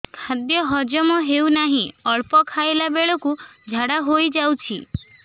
ଖାଦ୍ୟ ହଜମ ହେଉ ନାହିଁ ଅଳ୍ପ ଖାଇଲା ବେଳକୁ ଝାଡ଼ା ହୋଇଯାଉଛି